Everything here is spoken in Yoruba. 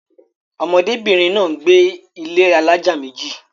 ọmọdé bìnrin náà gbé ilé alájà méjì